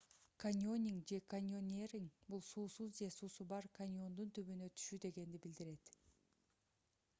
каньонинг же: каньонеринг — бул суусуз же суусу бар каньондун түбүнө түшүү дегенди билдирет